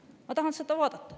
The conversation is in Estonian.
Ma tahan seda vaadata.